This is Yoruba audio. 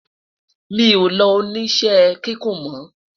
mí o ló odo oníṣe kíkún mo